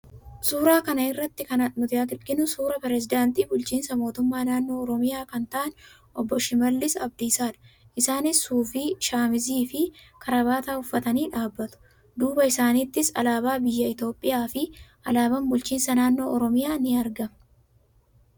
Suuraa kana irratti kan nuti arginu, suuraa pirezidaantii bulchiinsa mootummaa naannoo Oromiyaa kan ta'an obbo Shimallis Abdiisaadha. Isaanis suufii, shamizii fi karabaataa uffatanii dhaabbatu. Duuba isaaniittis alaabaa biyya Itoophiyaa fi alaabaan bulchiinsa naannoo Oromiyaa ni argama.